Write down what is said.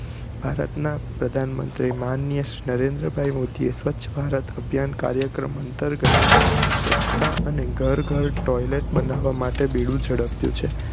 ભારત ના પ્રધાનમંત્રી શ્રી માનનીય નરેન્દ્રભાઈ મોદી એ સ્વચ્છ ભારત કાર્યક્રમ અંતર્ગત સ્વચ્છતા અને ઘર ઘર toilet બનાવવા માટે બીડુ ઝડપ્યું છે